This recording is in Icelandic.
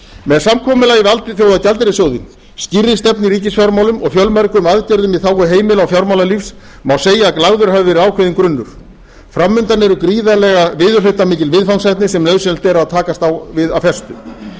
með samkomulagi við alþjóðagjaldeyrissjóðinn skýrri stefnu í ríkisfjármálum og fjölmörgum aðgerðum í þágu heimila og fjármálalífs má segja að lagður hafi verið ákveðinn grunnur fram undan eru gríðarlega viðurhlutamikil viðfangsefni sem nauðsynlegt er að takast á við af festu